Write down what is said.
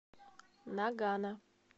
нагано